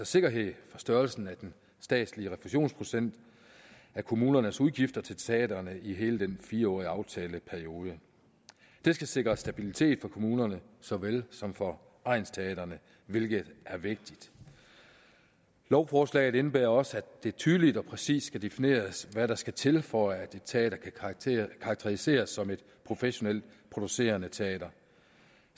sikkerhed for størrelsen af den statslige refusionsprocent af kommunernes udgifter til teatre i hele den fire årige aftaleperiode det skal sikre stabilitet for kommunerne såvel som for egnsteatrene hvilket er vigtigt lovforslaget indebærer også at det tydeligt og præcist skal defineres hvad der skal til for at et teater kan karakteriseres som et professionelt producerende teater